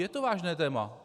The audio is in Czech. Je to vážné téma!